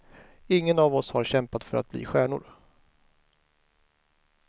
Ingen av oss har kämpat för att bli stjärnor.